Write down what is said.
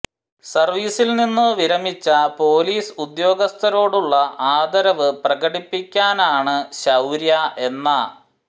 സർവീസിൽ നിന്നു വിരമിച്ച പൊലീസ് ഉദ്യോഗസ്ഥരോടുള്ള ആദരവ് പ്രകടിപ്പിക്കാനാണ് ശൌര്യ എന്ന